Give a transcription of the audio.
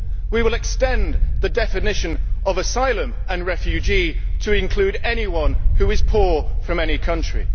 We will extend the definition of asylum and refugee to include anyone who is poor from any country.